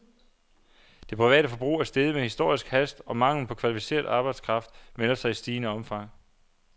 Det private forbrug er steget med historisk hast, og manglen på kvalificeret arbejdskraft melder sig i stigende omfang.